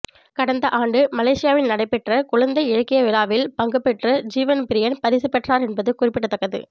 கடந்த ஆண்டு மலேசியாவில் நடைபெற்ற குழந்தை இலக்கிய விழாவில் பங்கு பெற்று ஜீவன் ப்ரியன் பரிசு பெற்றார் என்பது குறிப்பிடத்தக்கது